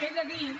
he de dir